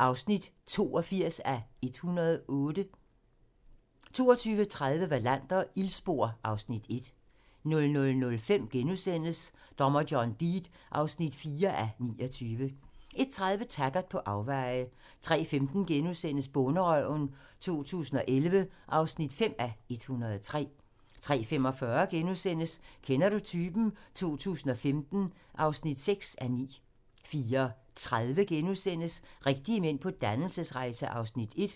(82:108) 22:30: Wallander: Ildspor (Afs. 1) 00:05: Dommer John Deed (4:29)* 01:30: Taggart: På afveje 03:15: Bonderøven 2011 (5:103)* 03:45: Kender du typen? 2015 (6:9)* 04:30: Rigtige mænd på dannelsesrejse (Afs. 1)*